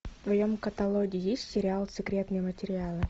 в твоем каталоге есть сериал секретные материалы